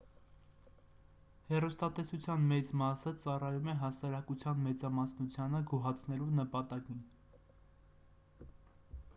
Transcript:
հեռուստատեսության մեծ մասը ծառայում է հասարակության մեծամասնությանը գոհացնելու նպատակին